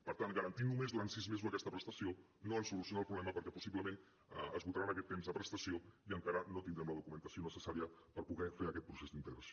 per tant garantir només durant sis mesos aquesta prestació no ens soluciona el problema perquè possiblement esgotaran aquest temps de prestació i encara no tindrem la documentació necessària per poder fer aquest procés d’integració